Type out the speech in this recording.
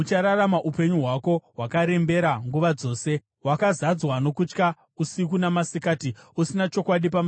Uchararama upenyu hwako hwakarembera nguva dzose, wakazadzwa nokutya usiku namasikati, usina chokwadi pamusoro poupenyu hwako.